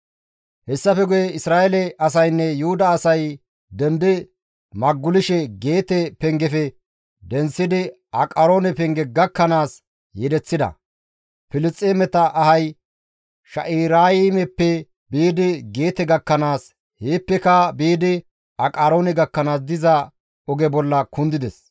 Hessafe guye Isra7eele asaynne Yuhuda asay dendi magulishe Geete pengefe denththidi Aqaroone penge gakkanaas yedeththida; Filisxeemeta ahay Shaa7iraymeppe biidi Geete gakkanaas, heeppeka biidi Aqaroone gakkanaas diza oge bolla kundides.